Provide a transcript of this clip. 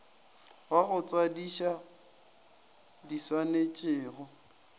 wa go tswadiša di swanetšwego